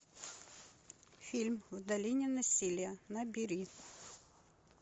фильм в долине насилия набери